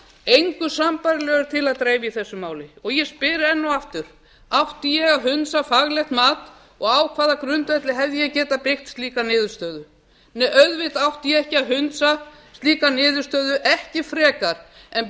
engu sambærilegu er til að dreifa í þessu máli og ég spyr enn og aftur átti ég að hundsa faglegt mat og á hvaða grundvelli hefði ég getað byggt slíka niðurstöðu nei auðvitað átti ég ekki að hundsa slíka niðurstöðu ekki frekar en